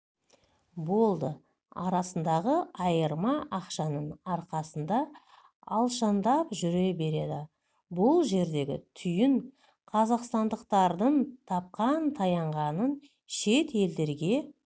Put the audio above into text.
болды арасындағы айырма ақшаның арқасында алшаңдап жүре береді бұл жердегі түйін қазақстандықтардың тапқан-таянғанын шет елдерге